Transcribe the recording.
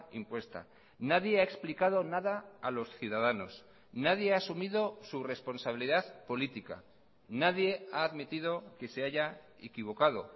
impuesta nadie ha explicado nada a los ciudadanos nadie ha asumido su responsabilidad política nadie ha admitido que se haya equivocado